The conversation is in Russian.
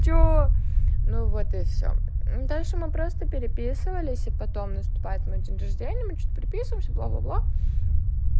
что ну вот и всё дальше мы просто переписывались и потом наступает мой день рождения мы что-то переписываемся бла бла бла